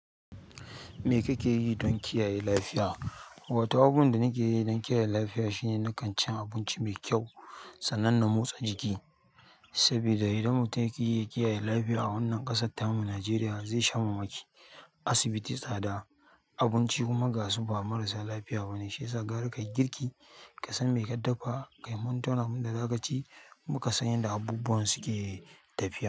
Me kake yi don kiyaye lafiya? Wato abubuwan da nake yi don kiyaye lafiya shine nakan cin abinci mai kyau, sanannen motsa jiki, saboda idan mutum yaƙi ya kiyaye lafiya a wannan ƙasar tamu Nijeriya zai sha mamaki. Asibiti tsada, abinci kuma gasu ba marasa lafiya ba ne, shi yasa gara kayi girki, ka san me ka dafa, ka yi mantona abin da za ka ci, kuma ka san yanda abubuwan suke tafiya.